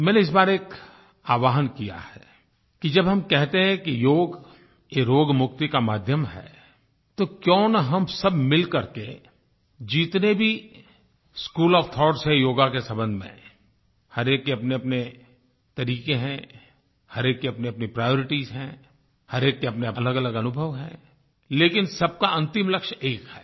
मैंने इस बार एक आवाहन किया है कि जब हम कहते हैं कि योग रोग मुक्ति का माध्यम है तो क्यों न हम सब मिल कर के जितने भी स्कूल ओएफ थाउट्स हैं योग के सम्बन्ध में हर एक के अपनेअपने तरीके हैं हर एक के अपनेअपने प्रायोरिटीज हैं हर एक के अपने अलगअलग अनुभव हैं लेकिन सब का अंतिम लक्ष्य एक है